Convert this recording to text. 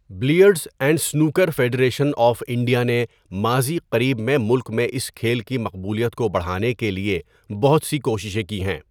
Billiards and snooker federation of India نے ماضی قریب میں ملک میں اس کھیل کی مقبولیت کو بڑھانے کے لیے بہت سی کوششیں کی ہیں۔